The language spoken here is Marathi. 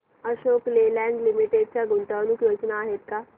अशोक लेलँड लिमिटेड च्या गुंतवणूक योजना आहेत का